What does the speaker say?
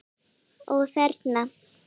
Ó: Þerna?